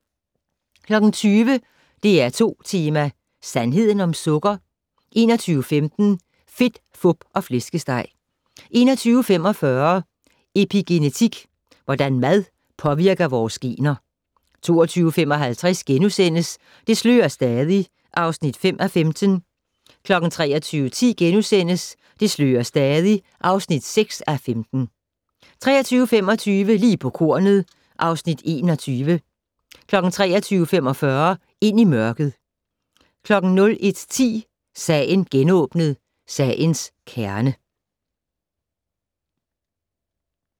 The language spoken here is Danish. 20:00: DR2 Tema: Sandheden om Sukker? 21:15: Fedt, Fup og Flæskesteg 21:45: Epigenetik - hvordan mad påvirker vores gener 22:55: Det slører stadig (5:15)* 23:10: Det slører stadig (6:15)* 23:25: Lige på kornet (Afs. 21) 23:45: Ind i mørket 01:10: Sagen genåbnet: Sagens kerne